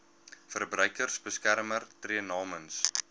verbruikersbeskermer tree namens